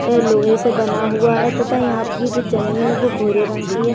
ये लोहे से बना हुआ है तथा यहाँ पर जो जमीन है वो भूरे रंग की है।